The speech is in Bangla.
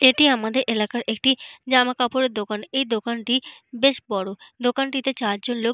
এটি আমাদের এলাকার একটি জামাকাপড়ের দোকান। এই দোকানটি বেশ বড়। দোকানটিতে চারজন লোক।